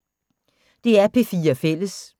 DR P4 Fælles